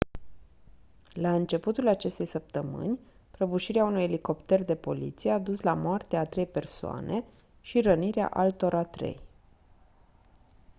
la începutul acestei săptămâni prăbușirea unui elicopter de poliție a dus la moartea a trei persoane și rănirea altora trei